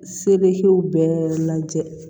Sebew bɛɛ lajɛ